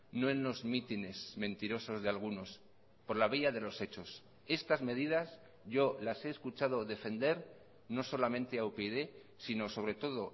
no en los mítines mentirosos de algunos por la vía de los hechos estas medidas yo las he escuchado defender no solamente a upyd sino sobre todo